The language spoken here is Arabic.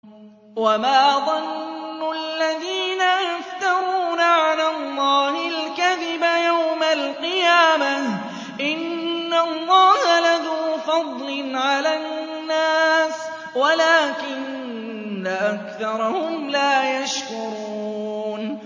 وَمَا ظَنُّ الَّذِينَ يَفْتَرُونَ عَلَى اللَّهِ الْكَذِبَ يَوْمَ الْقِيَامَةِ ۗ إِنَّ اللَّهَ لَذُو فَضْلٍ عَلَى النَّاسِ وَلَٰكِنَّ أَكْثَرَهُمْ لَا يَشْكُرُونَ